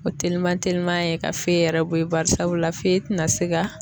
O teliman teliman ye ka fe yɛrɛ bɔ ye barisabula fe tɛ na se ka